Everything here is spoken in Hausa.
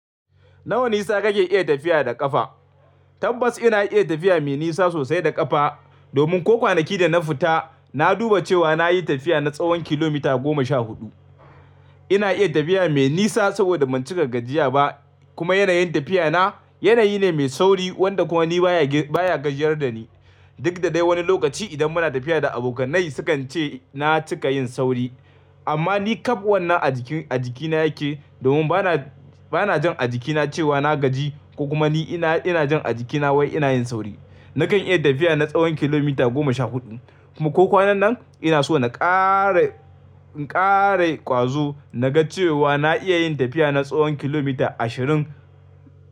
Na wa nisa kake iya tafiya da ƙafa? Tabbas ina iya tafiya mai nisa sosai da ƙafa. Domin ko kwanaki da na fita na duba cewa na yi tafiya na tsawon kilomita goma sha huɗu. Ina iya tafiya mai nisa saboda ban cika gajiya ba, kuma yanayin tafiya na, yanayi ne mai sauri wanda kuma ni baya baya gajiyar da ni. Duk da dai wani lokaci idan muna tafiya da abokannai sukan ce na cika yin sauri. Amma ni ƙab wanna a jiki a jikina yake, domin bana jin a jikina cewa na gaji, ko kuma ni ina jin a jikina wai ina yin sauri. Nakan iya tafiya na tsawon kilomita goma sha huɗu kuma ko kwanan nan ina so na ƙara in kara ƙwazo naga cewa na iya yin tafiya na tsawon kilomita ashirin.